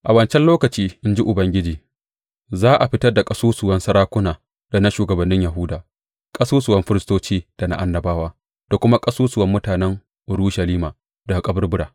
A wancan lokaci, in ji Ubangiji, za a fitar da ƙasusuwan sarakuna da na shugabannin Yahuda, ƙasusuwan firistoci da na annabawa, da kuma ƙasusuwan mutanen Urushalima daga kaburbura.